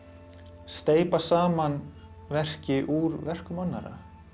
steypa saman verki úr verkum annarra